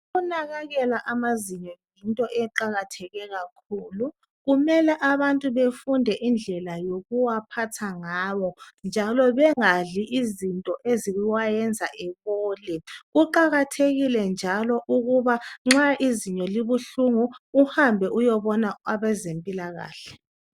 Ukunakekela amazinyo yinto eqakatheke kakhulu. Kumele abantu befunde indlela yokuwaphatha ngawo njalo bengadli izinto eziwayenza ebole kuqakathekile njalo ukuba nxa izinyo libuhlungu uhambe uyebona abezempilakahle